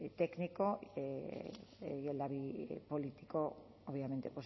técnico y el labi político obviamente